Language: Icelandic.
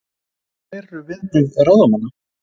En hver eru viðbrögð ráðamanna?